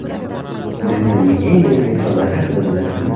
Dunyoning eng yirik metrolari haqida bilasizmi?